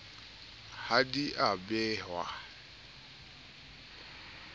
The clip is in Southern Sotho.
ha di a behwa ka